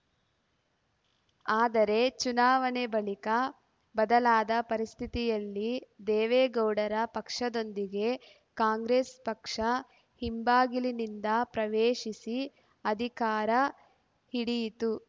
ಆದರೆ ಚುನಾವಣೆ ಬಳಿಕ ಬದಲಾದ ಪರಿಸ್ಥಿತಿಯಲ್ಲಿ ದೇವೇಗೌಡರ ಪಕ್ಷದೊಂದಿಗೆ ಕಾಂಗ್ರೆಸ್‌ ಪಕ್ಷ ಹಿಂಬಾಗಿಲಿನಿಂದ ಪ್ರವೇಶಿಸಿ ಅಧಿಕಾರ ಹಿಡಿಯಿತು